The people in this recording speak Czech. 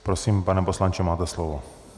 Prosím, pane poslanče, máte slovo.